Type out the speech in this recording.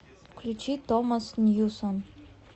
включить томас ньюсон